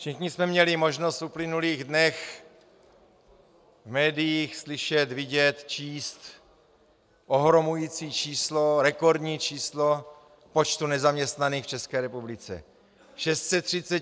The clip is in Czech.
Všichni jsme měli možnost v uplynulých dnech v médiích slyšet, vidět, číst ohromující číslo, rekordní číslo počtu nezaměstnaných v České republice.